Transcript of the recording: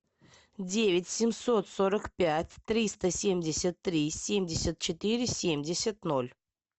девять семьсот сорок пять триста семьдесят три семьдесят четыре семьдесят ноль